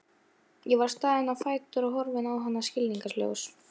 Ég var staðinn á fætur og horfði á hana skilningssljór.